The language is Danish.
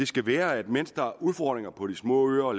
skal være at mens der er udfordringer på de små øer og